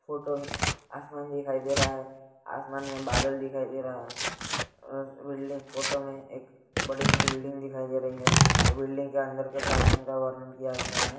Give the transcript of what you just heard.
Photo में आसमान दिखाई दे रहा है। आसमान में बादल दिखाई दे रहा है उम बिल्डिंग फोटो में एक बड़ी सी बिल्डिंग दिखाई दे रही है बिल्डिंग के अंदर के प्रांगण का वर्णन किया हुआ है।